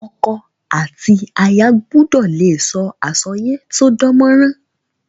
Oko àti aya gbudò le so àsoyépò to dánmórán